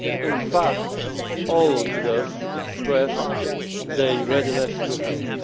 In fact, all leaders expressed their readiness to help.